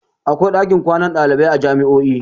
Akwai ɗakin kwana dalibai a jami'o'i